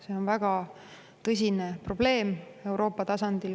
See on väga tõsine probleem Euroopa tasandil.